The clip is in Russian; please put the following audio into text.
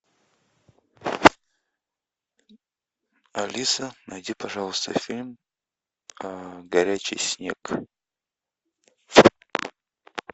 алиса найди пожалуйста фильм горячий снег